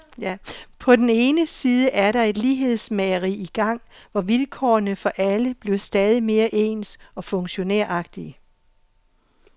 På den ene side er der et lighedsmageri i gang, hvor vilkårene for alle bliver stadig mere ens og funktionæragtige.